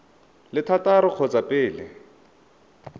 le thataro ka kgotsa pele